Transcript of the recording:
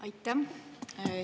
Aitäh!